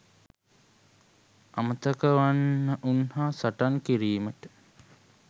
අමතක වන්නවුන් හා සටන් කිරීමට